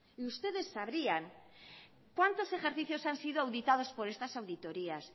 y ustedes sabrían cuántos ejercicios han sido auditados por estas auditorías